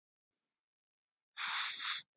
Vættir gráta, vetur færist nær.